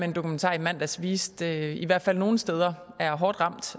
en dokumentar i mandags viste i hvert fald nogle steder er hårdt ramt